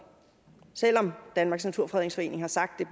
selv om danmarks naturfredningsforening har sagt